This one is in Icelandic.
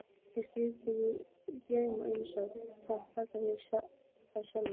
Eða strýkur í mig drauma einsog hann kallar það sjálfur.